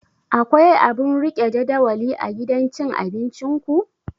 Akwai abun rike jadawali a gidan cin abinciku?